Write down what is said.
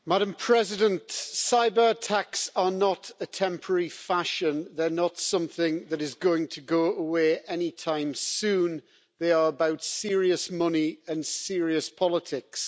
Madam President, cyber attacks are not a temporary fashion, they are not something that is going to go away any time soon. They are about serious money and serious politics.